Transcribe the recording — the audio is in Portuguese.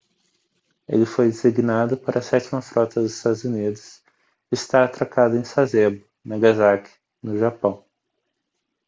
ele foi designado para a sétima frota dos estados unidos e está atracado em sasebo nagasaki no japão